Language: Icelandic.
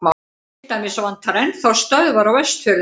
til dæmis vantar enn þá stöðvar á vestfjörðum